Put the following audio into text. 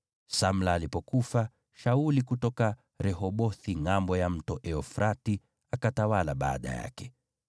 Samla alipofariki, Shauli kutoka Rehobothi ngʼambo ya Mto Frati akawa mfalme baada yake.